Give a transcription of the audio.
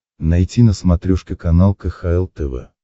найти на смотрешке канал кхл тв